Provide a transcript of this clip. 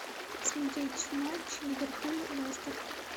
смотреть матч ливерпуль лестер